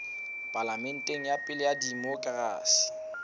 palamente ya pele ya demokerasi